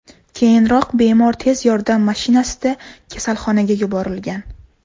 Keyinroq bemor tez yordam mashinasida kasalxonaga yuborilgan.